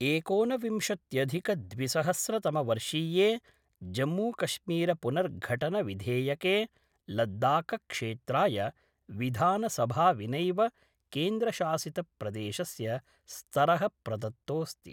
एकोनविंशत्यधिकद्विसहस्रतमवर्षीये जम्मूकश्मीरपुनर्घटनविधेयके लद्दाखक्षेत्राय विधानसभाविनैव केन्द्रशासित प्रदेशस्य स्तर: प्रदत्तोस्ति